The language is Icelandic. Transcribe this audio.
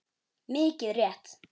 Mikið rétt.